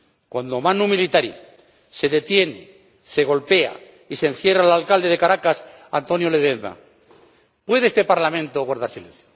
Cuando, manu militari, se detiene, se golpea y se encierra al alcalde de Caracas, Antonio Ledezma ¿puede este Parlamento guardar silencio?